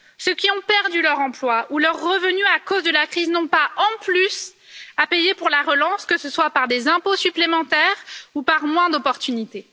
Ceux qui ont perdu leur emploi ou leurs revenus à cause de la crise n'ont pas en plus à payer pour la relance, que ce soit par des impôts supplémentaires ou par moins d'opportunités.